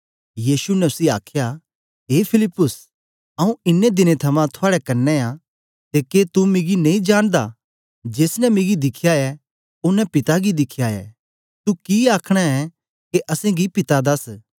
यीशु ने उसी आखया ए फिलिप्पुस आऊँ इन्नें दिनें थमां थुआड़े कन्ने आं ते के तू मिगी नेई जानदा जेस ने मिगी दिखया ऐ ओनें पिता गी दिखया ऐ तू कि आखना ऐ के असेंगी पिता दस